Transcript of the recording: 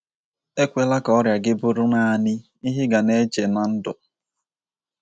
Ekwela ka ọrịa gị bụrụ nanị ihe ị ga na - eche ná ndụ.